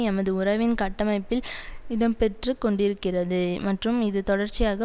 எமது உறவின் கட்டமைப்பில் இடம் பெற்று கொண்டிருக்கிறது மற்றும் இது தொடர்ச்சியாக